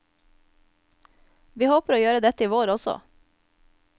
Vi håper å gjøre dette i vår også.